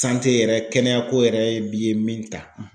yɛrɛ kɛnɛyako yɛrɛ bi ye min ta.